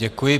Děkuji.